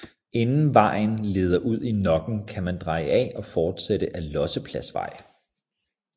Inden vejen leder ud i Nokken kan man dreje af og fortsætte ad Lossepladsvej